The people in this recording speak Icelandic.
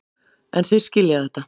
En þeir skilja þetta.